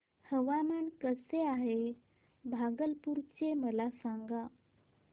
हवामान कसे आहे भागलपुर चे मला सांगा